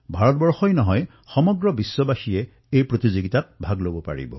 ভাৰতেই নহয় সমগ্ৰ বিশ্বৰ লোকে এই প্ৰতিযোগিতাত অংশগ্ৰহণ কৰিব পাৰে